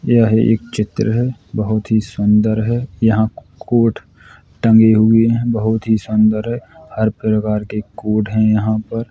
यह एक चित्र है। बोहोत ही सुंदर है। यहां कोट टंगे हुऐ हैं। बोहोत ही शानदार है। हर प्रकार के कोट हैं यहां पर।